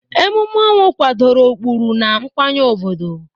Emume ọnwụ kwadoro ụkpụrụ na nkwenye obodo.